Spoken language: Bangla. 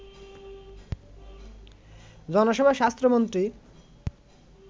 জনসভায় স্বাস্থ্যমন্ত্রী